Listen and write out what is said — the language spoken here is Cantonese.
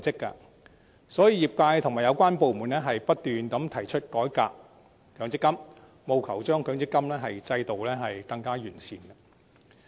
因此，業界和有關部門已不斷提出改革強積金，務求令強積金制度更趨完善。